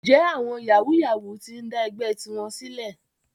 Ǹjẹ́ àwọn yàwúú-yawuù ti ń dá ẹgbẹ́ tiwọn sílẹ̀?